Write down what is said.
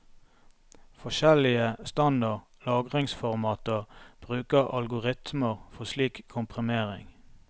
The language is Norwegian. Forskjellige standard lagringsformater bruker algoritmer for slik komprimering.